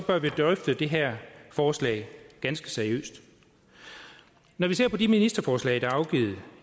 bør vi drøfte det her forslag ganske seriøst når vi ser på de ministerforslag der er afgivet